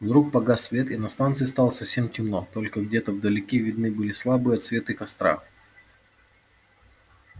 вдруг погас свет и на станции стало совсем темно только где-то вдалеке видны были слабые отсветы костра